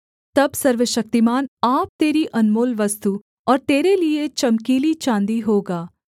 तब सर्वशक्तिमान आप तेरी अनमोल वस्तु और तेरे लिये चमकीली चाँदी होगा